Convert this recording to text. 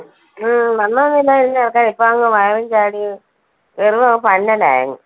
ആ വണ്ണം ഒന്നും ഇല്ലായിരുന്നു ചെറുക്കന്, ഇപ്പൊ അങ്ങ് വയറും ചാടി വെറുതെ ഒരു